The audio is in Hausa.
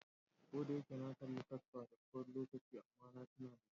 Ko da yake na kalla kasper da tsawon lokaci amma na tuna da shi.